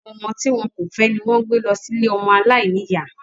Àwọn ọmọ tí wọn kò fẹ́ ni wón ń gbé lọ sí ilée ọmọ aláìníyá